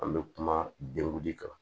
An bɛ kuma denguli de kan